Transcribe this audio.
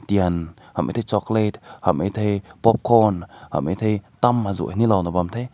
tein hum mae te chocolate hum mae te popcorn hum mae te tam azu na he bam te.